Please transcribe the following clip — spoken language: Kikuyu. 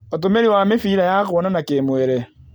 Ũtũmĩri wa mĩbira ya kuonana kĩ-mwĩrĩ